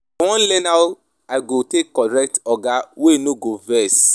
I wan learn how I go take correct oga wey no go vex